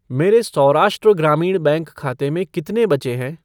मेरे सौराष्ट्र ग्रामीण बैंक खाते में कितने बचे हैं?